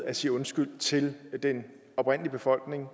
at sige undskyld til den oprindelige befolkning